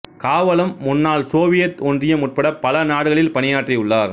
காவலம் முன்னாள் சோவியத் ஒன்றியம் உட்பட பல நாடுகளில் பணியாற்றியுள்ளார்